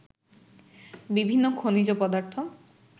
বিভিন্ন খনিজ পদার্থ